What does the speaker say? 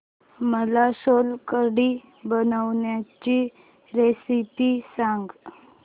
मला सोलकढी बनवायची रेसिपी सांग